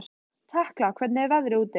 Tekla, hvernig er veðrið úti?